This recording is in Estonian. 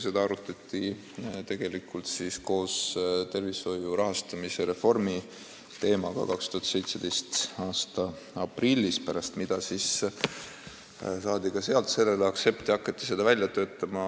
Seda arutati koos tervishoiu rahastamise reformi teemaga 2017. aasta aprillis, pärast seda saadi ka sealt aktsept ja hakati seda muudatust välja töötama.